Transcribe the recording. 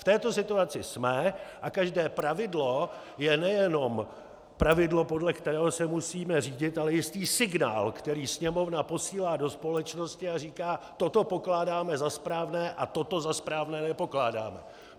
V této situaci jsme a každé pravidlo je nejenom pravidlo, podle kterého se musíme řídit, ale jistý signál, který Sněmovna posílá do společnosti a říká: toto pokládáme za správné a toto za správné nepokládáme.